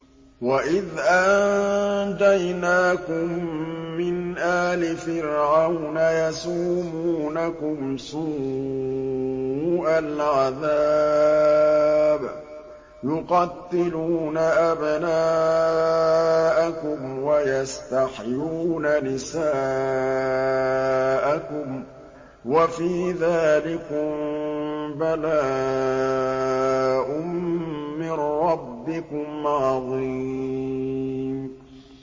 وَإِذْ أَنجَيْنَاكُم مِّنْ آلِ فِرْعَوْنَ يَسُومُونَكُمْ سُوءَ الْعَذَابِ ۖ يُقَتِّلُونَ أَبْنَاءَكُمْ وَيَسْتَحْيُونَ نِسَاءَكُمْ ۚ وَفِي ذَٰلِكُم بَلَاءٌ مِّن رَّبِّكُمْ عَظِيمٌ